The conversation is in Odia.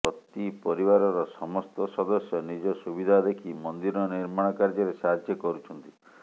ପ୍ରତି ପରିବାରର ସମସ୍ତ ସଦସ୍ୟ ନିଜ ସୁବିଧା ଦେଖି ମନ୍ଦିର ନିର୍ମାଣ କାର୍ଯ୍ୟରେ ସାହାଯ୍ୟ କରୁଛନ୍ତି